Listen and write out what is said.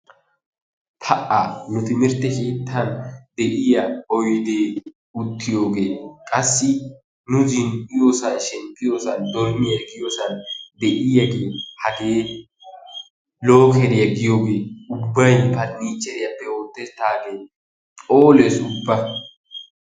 pa'a! nu timirtt keettan de'iyaa odee qassi uttiyoogee nu zin"iyoosaa shemppiyoosaa dormmiyaa giyooan de'iyaagee hagee lookeriyaa giyoogee ubbay pernicheriyaappe oosettaagee phoolees ubba.